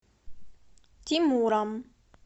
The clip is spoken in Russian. тимуром